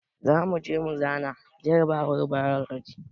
Zamuje mu zana jarabawar bailoji